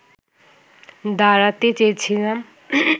দাঁড়াতে চেয়েছিলাম